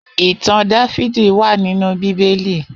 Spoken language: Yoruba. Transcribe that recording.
Itàn Dàvidi wà ninú Bibéli